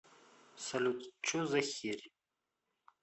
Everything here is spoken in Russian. салют че за херь